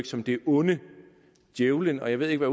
som det onde djævelen og jeg ved ikke